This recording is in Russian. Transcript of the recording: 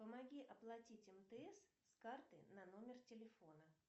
помоги оплатить мтс с карты на номер телефона